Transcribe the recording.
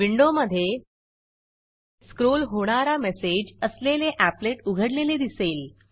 विंडोमधे स्क्रॉल होणारा मेसेज असलेले एपलेट उघडलेले दिसेल